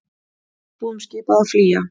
Íbúum skipað að flýja